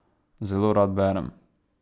Zelo rad berem.